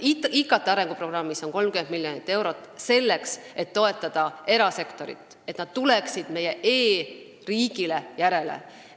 IKT arenguprogrammis on 30 miljonit eurot selleks, et toetada erasektorit, et erasektor tuleks meie e-riigile järele.